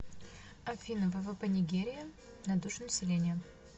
афина ввп нигерия на душу населения